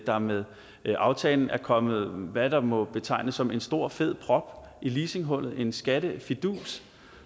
der med aftalen er kommet hvad der må betegnes som en stor fed prop i leasinghullet som er en skattefidus